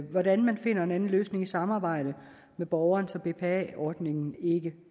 hvordan man finder en anden løsning i samarbejde med borgeren så bpa ordningen ikke